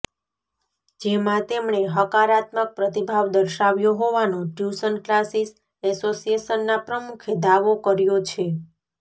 જેમાં તેમણે હકારાત્મક પ્રતિભાવ દર્શાવ્યો હોવાનો ટ્યુશન ક્લાસિસ એસોસિએશના પ્રમુખે દાવો કર્યો છે